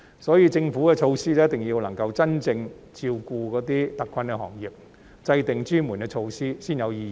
所以，政府的措施一定要真正照顧那些特困行業，制訂專門措施才具意義。